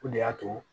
O de y'a to